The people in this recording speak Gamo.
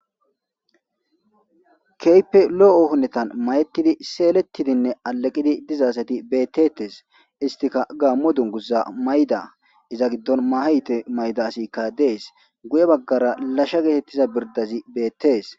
Kehipe lo'o gididi mayetidi seletidi ade gidi diza assati betetesi ettika gamo dunguza mayida gidishin etta gidoni mahe galibba mayidda assika desi guye bagg